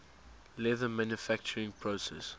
leather manufacturing process